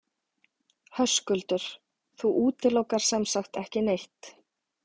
Höskuldur: Þú útilokar sem sagt ekki neitt?